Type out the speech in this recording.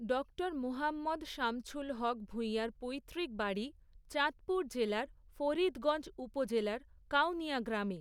Doctor Mohammad Shamsul Haque ভূঁইয়ার পৈতৃক বাড়ি, চাঁদপুর জেলার ফরিদগঞ্জ উপজেলার কাউনিয়া গ্রামে।